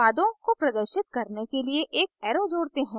उत्पादों को प्रदर्शित करने के लिए एक arrow जोड़ते हैं